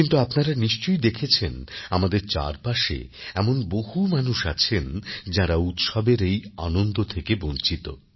কিন্তু আপনারা নিশ্চয়ই দেখেছেন আমাদের চারপাশে এমন বহু মানুষ আছেন যাঁরা উৎসবের এই আনন্দ থেকে বঞ্চিত